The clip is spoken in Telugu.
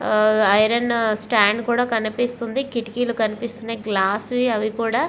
హ ఐరన్ స్టాండ్ కూడా కనిపిస్తుంది కిటికీలు కనిపిస్తున్నాయి గ్లాస్ వి అవి కూడ --